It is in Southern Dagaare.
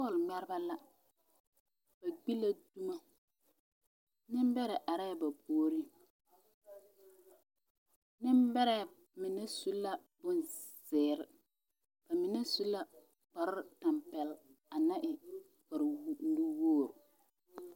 Bɔɔl ŋmɛreba la ba gbi la dumo nembɛrɛ are la ba puoriŋ nembɛrɛ mine su la bonzeere ba mine su la kparetampɛloŋ a naŋ e kparenuwogre.